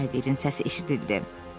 Tayqerin səsi eşidildi.